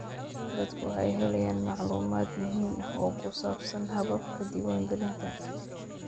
Dadku waxay helayaan macluumaad muhiim ah oo ku saabsan hababka diiwaangelinta.